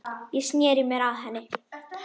Ég sneri mér að henni.